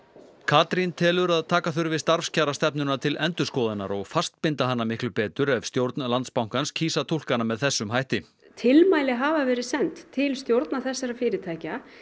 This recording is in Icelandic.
Katrín telur að taka þurfi starfskjarastefnuna til endurskoðunar og fastbinda hana miklu betur ef stjórn Landsbankans kýs að túlka hana með þessum hætti tilmæli hafa verið send til stjórna þessara fyrirtækja